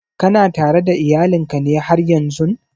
Kana tare da iyalin ka ne haryan zun?